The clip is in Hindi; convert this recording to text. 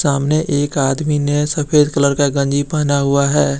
सामने एक आदमी ने सफेद कलर का गंजी पहना हुआ है।